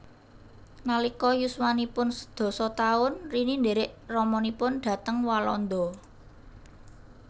Nalika yuswanipun sedasa taun Rini ndhèrèk ramanipun dhateng Walanda